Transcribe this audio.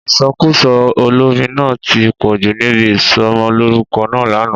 Ìsọkúsọ olórin náà ti pọ̀jù níbi isọmọlúrúkọ náà lánàá